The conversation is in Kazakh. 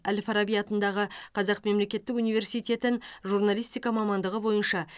әл фараби атындағы қазақ мемлекеттік университетін журналистика мамандығы бойынша